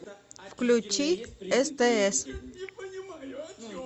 включи стс